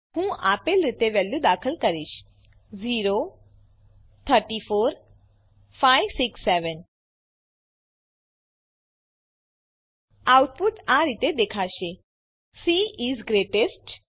હું આપેલ રીતે વેલ્યુઓ દાખલ કરીશ આઉટપુટ આ રીતે દેખાશે સી ઇસ ગ્રેટેસ્ટ